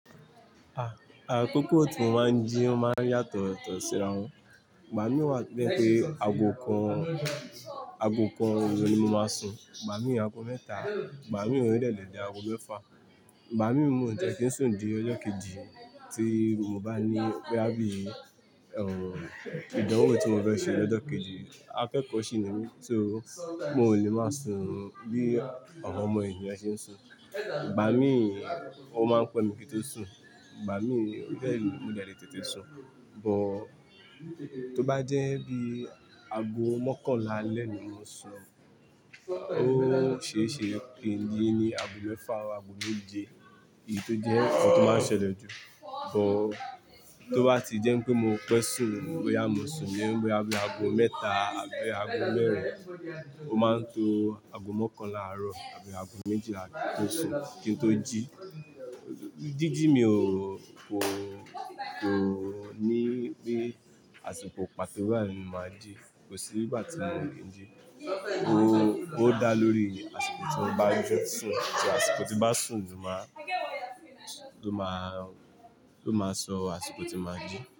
Ah, àkókò tí mo máa ń jí máa ń yàtọ̀ tọ̀síra wọn. Gba mi wá tojé pé ago kan, ago kan oru ni mo máa sun, gbà mí ago mẹ́ta, gbà mí ònílẹ̀dẹ̀dẹ̀ ago mẹ́fà. Gba mi mú tiẹ́ kí n sùn di ọjọ́ kejì, tí mo bá ní boya bí, ẹ̀rù ìdánwò tí mo fẹ́ ṣe lọ́jọ́ kejì. Akẹ́kọ̀ọ́ sì ni mí, so mi o lè máa sun bí àwọn ọmọ ènìyàn ṣe ń sun. Gba mi ó máa ń pè mi kí n tó sùn, gbà mí o dẹ̀ le mo dẹ̀ lé tètè sun, bó tó bá jẹ́ bí ago mọ́kànlá lẹ́ẹ̀ni mo sun, ó ṣeé ṣe pé ji ni ago mẹ́fà àbí ago méje ii tó jẹ́ ohun tó máa ń ṣẹlẹ̀ jù. But tó bá ti jẹ́ pé mo pẹ́ sùn bóyá mo sun ni bóyá bi ago mẹ́ta àbí ago mẹ́rin, ó máa ń to ago mọ́kànlá àárọ̀ àbí ago méjìlá tó sùn kí n tó jí. Jíjí mi ò, kò, kò ní bí àsìkò pàtó bayi ni mo máa jí, kò sí igbà tí mo ò lè ń jí. Ó, ó dá lórí àsìkò tí mo bá ń yóò sùn, tí àsìkò tí bá sùn ló máa, ló máa, ló máa sọ àsìkò tí mo máa jí.